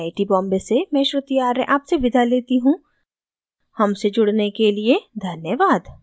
I I T Bombay से मैं श्रुति आर्य आपसे विदा लेती हूँ हमसे जुड़ने के लिए धन्यवाद